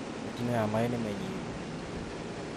Mĩtino ya maaĩ nĩ mĩnyihu